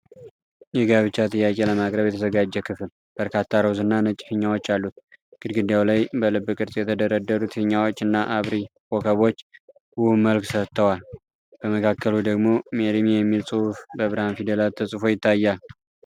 የጋብቻ ጥያቄ ለማቅረብ የተዘጋጀ ክፍል፣ በርካታ ሮዝ እና ነጭ ፊኛዎች አሉት። ግድግዳው ላይ በልብ ቅርጽ የተደረደሩት ፊኛዎች እና አብሪ ኮከቦች ውብ መልክ ሰጥተዋል። በመካከሉ ደግሞ 'MARRY ME' የሚል ጽሑፍ በብርሃን ፊደላት ተጽፎ ይታያል።